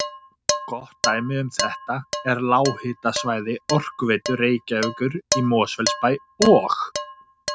Gott dæmi um þetta er lághitasvæði Orkuveitu Reykjavíkur í Mosfellsbæ og